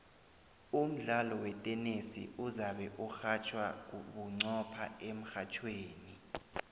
umdlalo wetenesi uzabe urhatjhwa bunqopha emrhatjhweni